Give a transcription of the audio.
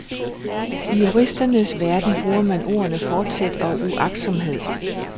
I juristernes verden bruger man ordene forsæt og uagtsomhed.